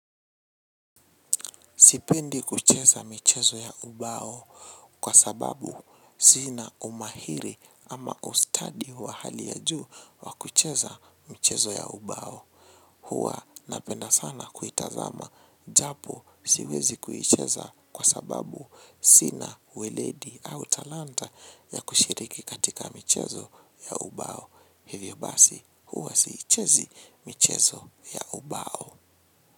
Sipendi kucheza michezo ya ubao kwa sababu sina umahiri ama ustadi wa hali ya juu wa kucheza michezo ya ubao. Huwa napenda sana kutazama, japo siwezi kucheza kwa sababu sina weledi au talanta ya kushiriki katika michezo ya ubao. Hivyo basi, huwa siichezi michezo ya ubao.